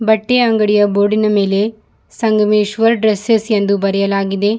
ಬಟ್ಟೆ ಅಂಗಡಿಯ ಬೋರ್ಡ್ ಇನ ಮೇಲೆ ಸಂಗಮೇಶ್ವರ್ ಡ್ರೆಸ್ಸೆಸ್ ಎಂದು ಬರೆಯಲಾಗಿದೆ.